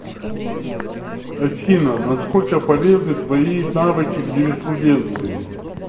афина на сколько полезны твои навыки в юриспруденции